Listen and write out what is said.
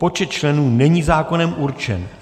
Počet členů není zákonem určen.